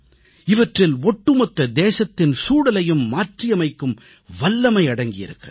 இவற்றில் ஒட்டுமொத்த தேசத்தின் சூழலையும் மாற்றியமைக்கும் வல்லமை அடங்கியிருக்கிறது